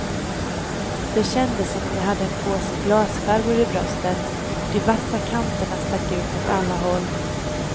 Det kändes som om jag hade en påse glasskärvor i bröstet, de vassa kanterna stack ut åt alla håll.